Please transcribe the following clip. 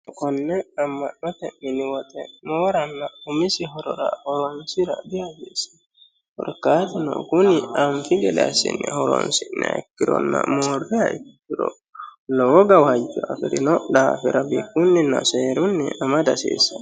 konne amma'note miniwaxe mooranna umisi horora horonsira dihasiesse horkaaduno guni anfi geleasinni horonsi naekkironna moorreha ikkiro lowo gawaajyo afi'rino dhaafira biikunninna seerunni amada d hasiissanno